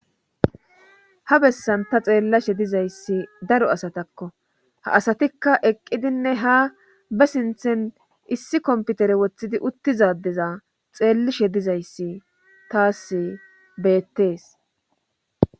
ha bessan ta xeellashe dizayssi daro asatakko ha asatikka eqqidinne ha ba sinthen issi komputere woththidi uttizadeza xeellishe dizayssi taas beettees